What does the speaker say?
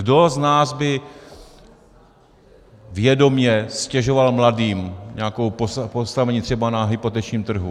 Kdo z nás by vědomě ztěžoval mladým nějaké postavení třeba na hypotečním trhu?